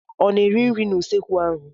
Ọ na-eri nri n'usekwu ahụ?